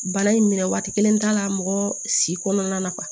Bana in minɛ waati kelen t'a la mɔgɔ si kɔnɔna na